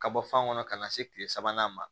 Ka bɔ fan kɔnɔ ka na se kile sabanan ma